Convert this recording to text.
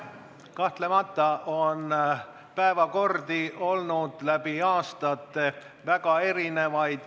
Kahtlemata on päevakordi olnud läbi aastate väga erinevaid.